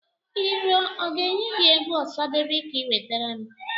I rue ọ ga-enye gị egwu Ọsadebe ka i nwetere m